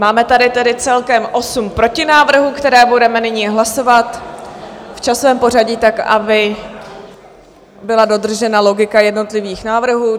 Máme tady tedy celkem osm protinávrhů, které budeme nyní hlasovat v časovém pořadí tak, aby byla dodržena logika jednotlivých návrhů.